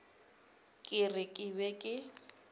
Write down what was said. ke re ke be ke